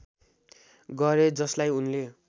गरे जसलाई उनले